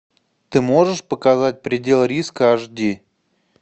ты можешь показать предел риска аш ди